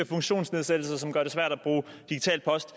funktionsnedsættelser som gør det svært at bruge digital post